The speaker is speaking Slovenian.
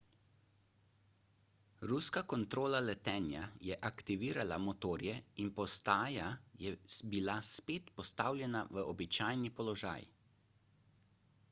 ruska kontrola letenja je aktivirala motorje in postaja je bila spet postavljena v običajni položaj